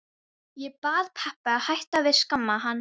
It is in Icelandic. Ég bað pabba að hætta að skamma hann.